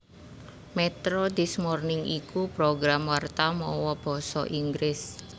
Metro This Morning iku program warta mawa basa Inggris